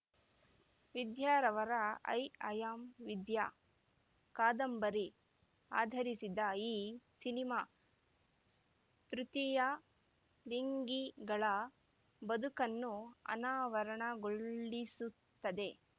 ವಿದ್ಯಾರವರ I am Vidya ಕಾದಂಬರಿ ಆಧರಿಸಿದ ಈ ಸಿನಿಮಾ ತೃತೀಯ ಲಿಂಗಿಗಳ ಬದುಕನ್ನು ಅನಾವರಣಗೊಳಿಸುತ್ತದೆ